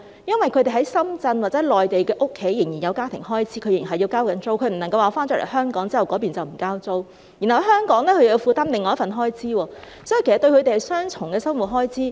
因為他們在深圳或內地的家仍有家庭開支，他們仍然要交租，不能因為身在香港便不繳交當地的租金，然後在香港又要負擔另一份開支，所以，對他們而言是雙重的生活開支。